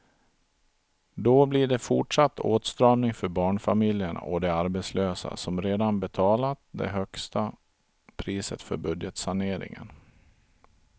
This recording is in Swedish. Då blir det fortsatt åtstramning för barnfamiljerna och de arbetslösa som redan betalat det högsta priset för budgetsaneringen.